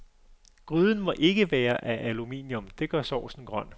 Gryden må ikke være af aluminium, det gør saucen grøn.